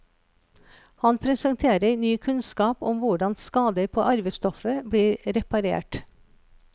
Han presenterer ny kunnskap om hvordan skader på arvestoffet blir reparert.